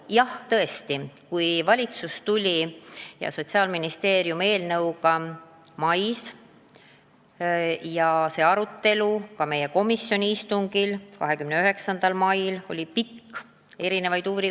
Jah, tõesti, kui valitsus ja Sotsiaalministeerium eelnõuga mais välja tulid, siis meie komisjoni istungil 29. mail toimunud arutelu oli pikk.